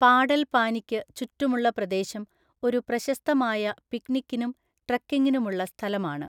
പാടൽപാനിക്ക് ചുറ്റുമുള്ള പ്രദേശം ഒരു പ്രശസ്തമായ പിക്നിക്കിനും ട്രെക്കിങ്ങിനുമുള്ള സ്ഥലമാണ്.